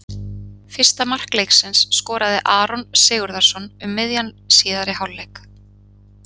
Fyrsta mark leiksins skoraði Aron Sigurðarson um miðjan síðari hálfleik.